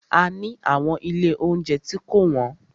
A ni àwọn ilé óunjẹ tí kò wọ́n.